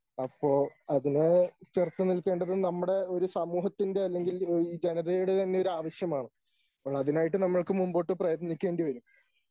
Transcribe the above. അപ്പോ അതിന് ചെറുത്ത് നിൽക്കേണ്ടത് നമ്മുടെ ഒരു സമൂഹത്തിൻ്റെ അല്ലെങ്കിൽ ഈ ജനതയുടെ തന്നെ ഒരു ആവശ്യമാണ്. അപ്പോളതിനായിട്ട് നമ്മക്ക് മുമ്പോട്ട് പ്രയത്നിക്കേണ്ടി വരും.